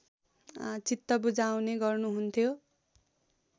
चित्त बुझाउने गर्नुहुन्थ्यो